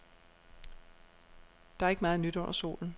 Der er ikke meget nyt under solen.